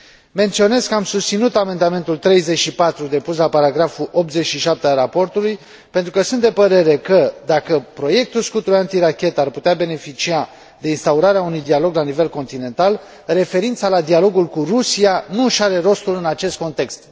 Menționez că am susținut amendamentul 34 depus la paragraful 87 al raportului pentru că sunt de părere că, dacă proiectul scutul antirachetă ar putea beneficia de instaurarea unui dialog la nivel continental, referința la dialogul cu Rusia nu își are rostul în acest context.